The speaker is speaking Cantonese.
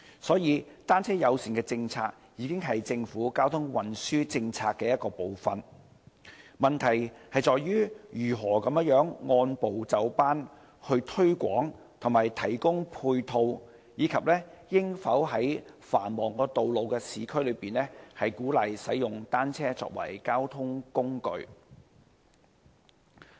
所以，單車友善政策已經是政府交通運輸政策的一部分，問題在於如何按部就班推廣和提供配套，以及應否在繁忙的市區道路上鼓勵使用單車作為交通工具。